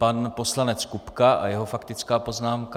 Pan poslanec Kupka a jeho faktická poznámka.